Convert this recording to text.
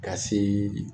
Ka se